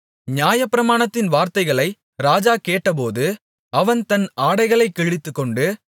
நியாயப்பிரமாணத்தின் வார்த்தைகளை ராஜா கேட்டபோது அவன் தன் ஆடைகளைக் கிழித்துக்கொண்டு